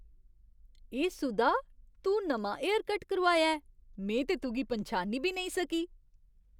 ए सुधा, तूं नमां हेयरकट करोआया ऐ! में ते तुगी पन्छानी बी नेईं सकी!